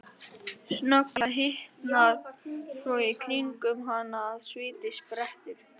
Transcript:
Snögglega hitnar svo í kringum hana að sviti sprettur fram.